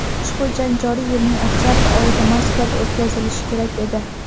ushbu jang joriy yilning oktyabr oyida Moskvada o‘tkazilishi kerak edi.